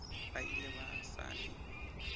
ba ile ba sa le